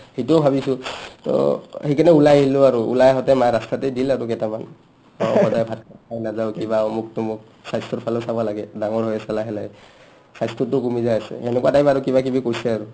সিটোও ভাবিছো to অ সিকাৰণে ওলাই আহিলো আৰু ওলাই আহোতে ৰাস্তাতে মাই দিল কেইটামান অ সদায় ভাত খাই নাযাঅ কিবা অমোক তমোক স্বাস্থ্যৰ ভালেও চাবা লাগে ডাঙৰ হৈ আহিছা লাহে লাহে অস স্বাস্থ্যটো কমি যায় আছে সেনেকুৱা টাইম্ কিবাকিবি কৈছে আৰু